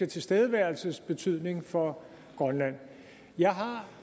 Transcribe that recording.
tilstedeværelses betydning for grønland jeg har